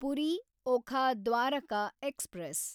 Puri Okha Dwarka express